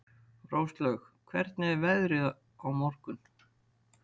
Róslaug, hvernig er veðrið á morgun?